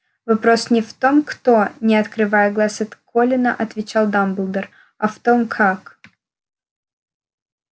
вопрос не в том кто не открывая глаз от колина отвечал дамблдор а в том как